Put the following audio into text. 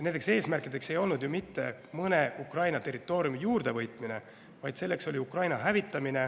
Ja eesmärk ei olnud ju mitte mõne Ukraina territooriumi juurdevõitmine, vaid selleks oli Ukraina hävitamine.